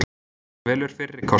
Hann velur fyrri kostinn.